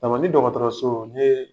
Tamani dɔgɔtɔrɔso n yee